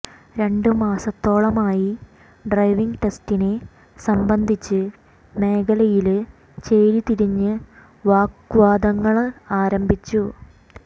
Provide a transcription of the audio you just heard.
രണ്ട് മാസത്തോളമായി ഡ്രൈവിംഗ് ടെസ്റ്റിനെ സംബന്ധിച്ച് മേഖലയില് ചേരി തിരിഞ്ഞ് വാഗ്വാദങ്ങള് ആരംഭിച്ചത്